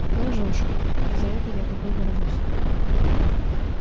ты лжёшь и за это я тобой горжусь